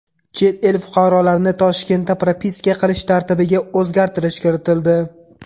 Chet el fuqarolarini Toshkentda propiska qilish tartibiga o‘zgartirish kiritildi.